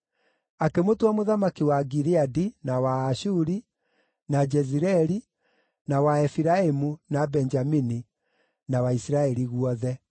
Akĩmũtua mũthamaki wa Gileadi, na wa Aashuri, na Jezireeli, na wa Efiraimu, na Benjamini, na wa Isiraeli guothe.